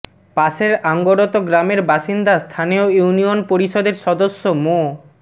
পাশের আঙ্গরত গ্রামের বাসিন্দা স্থানীয় ইউনিয়ন পরিষদের সদস্য মো